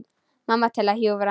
Mamma til að hjúfra.